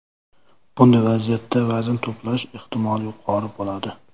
Bunday vaziyatda vazn to‘plash ehtimoli yuqori bo‘ladi.